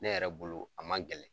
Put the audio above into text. Ne yɛrɛ bolo, a man gɛlɛn .